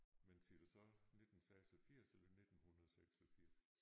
Men siger du 19 86 eller 1986?